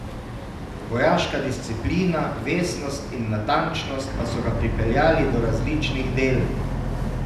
Vojaška disciplina, vestnost in natančnost pa so ga pripeljali do različnih del.